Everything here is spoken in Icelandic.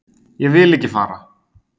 Ég vil ekki fara.